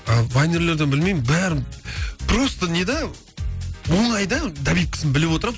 ал вайнерлерден білмеймін бәрін просто не да оңай да добивкісін біліп отырамын